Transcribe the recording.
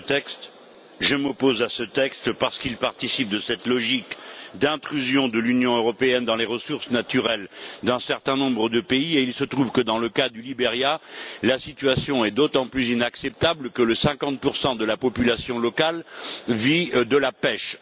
Madame la Présidente, je m'oppose à ce texte parce qu'il participe de cette logique d'intrusion de l'Union européenne dans les ressources naturelles d'un certain nombre de pays et il se trouve que, dans le cas du Liberia, la situation est d'autant plus inacceptable que 50 de la population locale vit de la pêche.